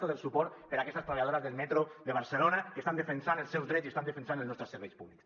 tot el suport per a aquestes treballadores del metro de barcelona que estan defensant els seus drets i estan defensant els nostres serveis públics